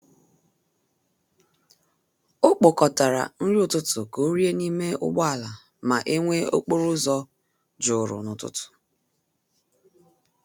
O kpokọtara nri ụtụtụ ka ọ rie n'ime ụgbọala ma e nwee okporo ụzọ juru n’ụtụtụ.